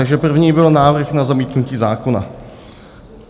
Takže první byl návrh na zamítnutí zákona.